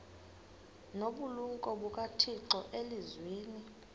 nobulumko bukathixo elizwini